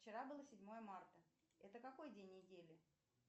вчера было седьмое марта это какой день недели